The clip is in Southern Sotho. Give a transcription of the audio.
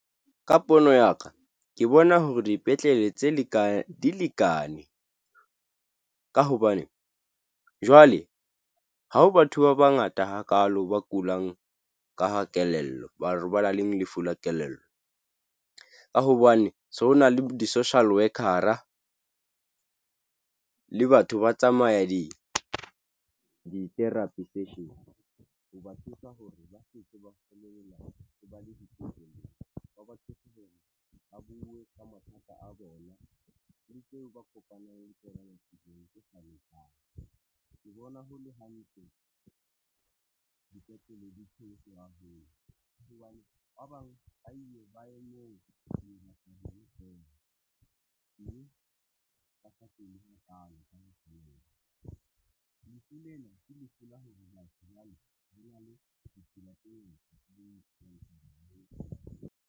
Ka pono ya ka ke bona hore dipetlele tse lekaneng di lekane ka hobane jwale ha ho batho ba bangata hakaalo ba kulang ka kelello, batho ba nang le lefu la kelello ka hobane so ho na le di-social worker le batho ba tsamaya di-therapy session tse teng. Ho ba thusa ho re ba lokela ho ba le ditefello tsa batsofe hore ba buwe ka mathata a bona le tseo ba kopanang le tsona . Ke bona ho le hantle dipetlele di .